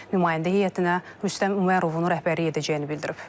Nümayəndə heyətinə Rüstəm Ömərovun rəhbərlik edəcəyini bildirib.